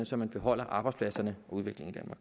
så man beholder arbejdspladserne og udviklingen